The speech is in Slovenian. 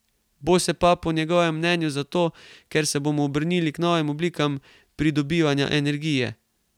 Bo se pa po njegovem mnenju zato, ker se bomo obrnili k novim oblikam pridobivanja energije.